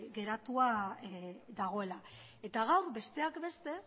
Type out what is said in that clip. geratua dagoela eta gaur besteak beste